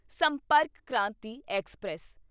ਸੰਪਰਕ ਕ੍ਰਾਂਤੀ ਐਕਸਪ੍ਰੈਸ